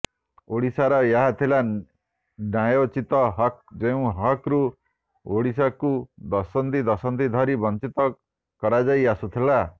ଓଡ଼ିଶାର ଏହା ଥିଲା ନ୍ୟାୟୋଚିତ ହକ୍ ଯେଉଁ ହକ୍ରୁ ଓଡ଼ିଶାକୁ ଦଶନ୍ଧି ଦଶନ୍ଧି ଧରି ବଞ୍ଚିତ କରାଯାଇ ଆସୁଥିଲା